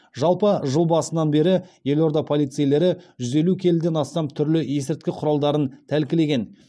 жалпы жыл басынан бері елорда полицейлері жүз елу келіден астам түрлі есірткі құралдарын тәлкілеген